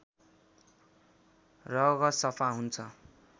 रगत सफा हुन्छ